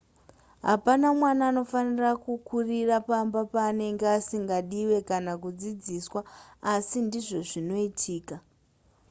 hapana mwana anofanira kukurira pamba paanenge asingadiwe kana kudzidziswa asi ndizvo zvinoitika